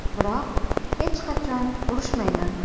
Biroq hech qachon urushmayman.